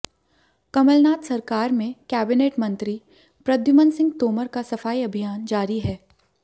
कमलनाथ सरकार में कैबिनेट मंत्री प्रद्युमन सिंह तोमर का सफाई अभियान जारी है